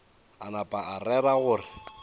a napa a rera gore